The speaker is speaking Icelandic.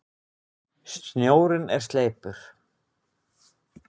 Snjórinn er sleipur!